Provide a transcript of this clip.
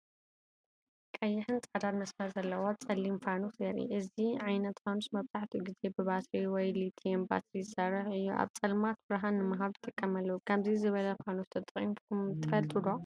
ቀይሕን ጻዕዳን መስመር ዘለዎ ጸሊም ፋኑስ የርኢ። እዚ ዓይነት ፋኑስ መብዛሕትኡ ግዜ ብባትሪ ወይ ሊትየም ባትሪ ዝሰርሕ ኮይኑ፡ ኣብ ጸልማት ብርሃን ንምሃብ ይጥቀመሉ። ከምዚ ዝበለ ፋኑስ ተጠቂምኩም ትፈልጡ ዶ?